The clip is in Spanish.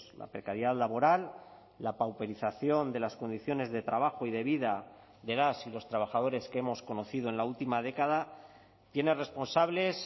la precariedad laboral la pauperización de las condiciones de trabajo y de vida de las y los trabajadores que hemos conocido en la última década tiene responsables